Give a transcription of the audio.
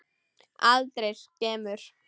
Aldrei skemur.